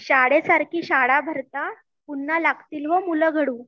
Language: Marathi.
शाळेसारखी शाळा भरता पुन्हा लागतील हो मुलं घडू